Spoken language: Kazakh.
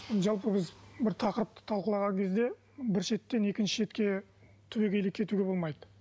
жалпы біз бір тақырыпты талқылаған кезде бір шеттен екінші шетке түбегейлі кетуге болмайды